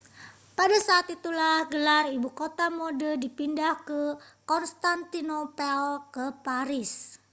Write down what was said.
pada saat itulah gelar ibu kota mode dipindah dari konstantinopel ke paris